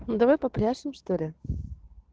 давай попляшем что ли